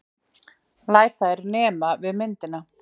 Læt þær nema við myndina.